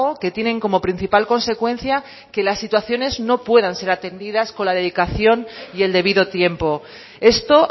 que tienen como principal consecuencia que las situaciones no puedan ser atendidas con la dedicación y el debido tiempo esto